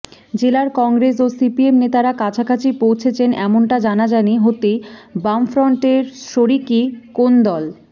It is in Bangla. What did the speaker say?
জেলার কংগ্রেস ও সিপিএম নেতারা কাছাকাছি পৌঁছেছেন এমনটা জানাজানি হতেই বামফ্রন্টের শরিকি কোন্দল